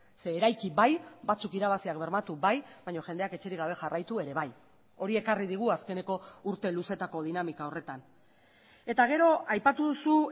zeren eraiki bai batzuk irabaziak bermatu bai baina jendeak etxerik gabe jarraitu ere bai hori ekarri digu azkeneko urte luzeetako dinamika horretan eta gero aipatu duzu